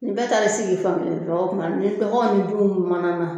Ni bɛ taara i sigi fan kelen fɛ o tuma ni baganw ni denw mana na